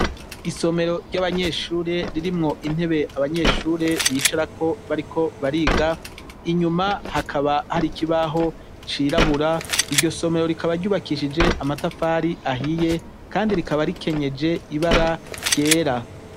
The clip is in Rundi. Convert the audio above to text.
Isomero ry'abanyeshure ririmwo intebe abanyeshure bicarako bariko bariga inyuma hakaba hari ikibaho cirabura iryo somero rikaba ryubakishije amatafari ahiye, kandi rikaba rikenyeje ibara ryera.